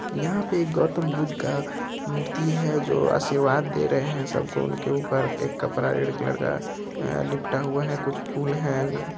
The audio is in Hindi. यहाँ पे एक गौतम बुध का मूर्ति है जो आसीरवाद दे रहे हैं सबको उनके ऊपर एक कपड़ा रेड कलर का लिपटा हुआ है कुछ फूल हैं